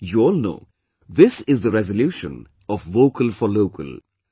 You all know, this is the resolution of 'Vocal for Local'